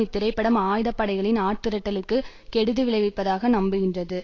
இத்திரைப்படம் ஆயுத படைகளின் ஆட்திரட்டலுக்கு கெடுதி விளைவிப்பதாக நம்புகின்றது